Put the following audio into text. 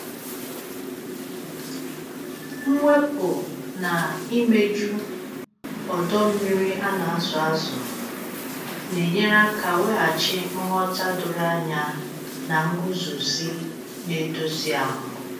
Mwepu na imeju ọdọ mmiri a na-azụ azụ na-enyere aka weghachi nghọta doro anya na nguzozi na-edozi ahụ.